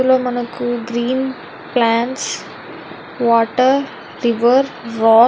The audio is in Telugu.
ఇందులో మనకు green plants water river rod --